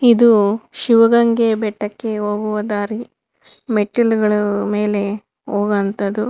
ಇದು ಶಿವಗಂಗೆ ಬೆಟ್ಟಕ್ಕೆ ಹೋಗುವ ದಾರಿ ಮೆಟ್ಟಿಲುಗಳು ಮೇಲೆ ಹೋಗೋ ಅಂಥದ್ದು.